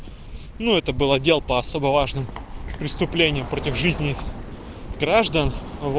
ну это был отдел по особо важным преступлениям против жизни граждан